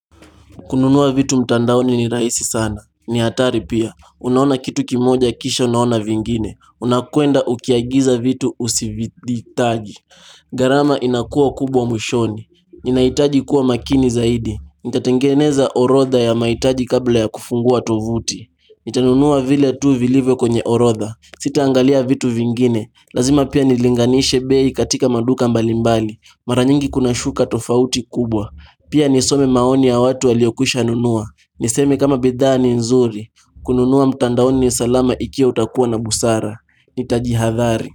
Kununua vitu mtandaoni ni rahisi sana. Ni hatari pia. Unaona kitu kimoja kisha unaona vingine. Unakwenda ukiagiza vitu usivihitaji. Gharama inakuwa kubwa mwishoni. Ninahitaji kuwa makini zaidi. Nitatengeneza orodha ya mahitaji kabla ya kufungua tovuti. Nitanunua vile tu vilivyo kwenye orodha Sitaangalia vitu vingine Lazima pia nilinganishe bei katika maduka mbalimbali Mara nyingi kuna shuka tofauti kubwa Pia nisome maoni ya watu waliokwishanunua Niseme kama bidhaa ni nzuri kununua mtandaoni ni salama ikiwa utakuwa na busara Nitajihadhari.